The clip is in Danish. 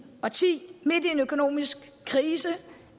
og ti midt i en økonomisk krise